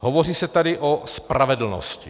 Hovoří se tady o spravedlnosti.